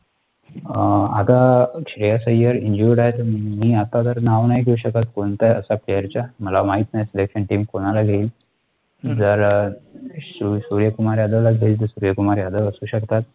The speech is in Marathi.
अं आता श्रेयस अय्यर injured आहे तर, मी आता नाव नाही घेऊ शकत, कोणत्याही प्लेयरचा, मला माहित नाही Selection team कुणाला घेईल, जर सुर्याकुमार यादवला घेईल तर सुर्याकुमार यादव असू शकतात.